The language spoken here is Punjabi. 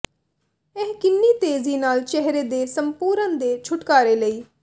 ਇਹ ਕਿੰਨੀ ਤੇਜ਼ੀ ਨਾਲ ਚਿਹਰੇ ਦੇ ਸੰਪੂਰਨ ਦੇ ਛੁਟਕਾਰੇ ਲਈ